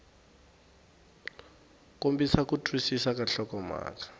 kombisa ku twisisa ka nhlokomhaka